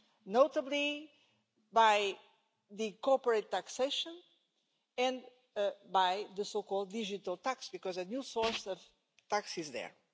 notably by corporate taxation and by the so called digital tax, because a new source of tax is there.